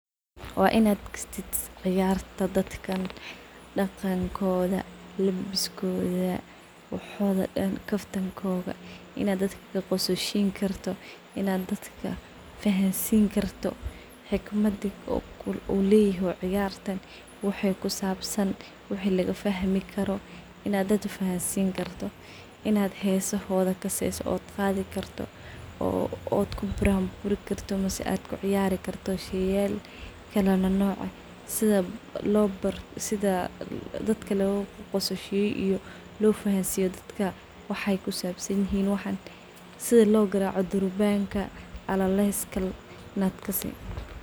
Wa in ad kastatis ciyarta dadkan, daqankodha labiskodha, waxodha dhan kaftankodha , in ad kaqoslisinkarto wax walbo, in ad dadka fahansin karto xikmadi ay ledaho ciyartan farsamadas ad kasi karto , in ad kaqoslin karto a larawah , waxas dan iyo waxyaba kale , aa larawh in durban ad garac taqanid aa muhim ah , sas a muhim ah , in dadka akafarxin kartid aaa muhim ah sas si lofahansiyo dadka waxay kusabsan yihin, sida logaraco durbanka alaleska in ad kasi.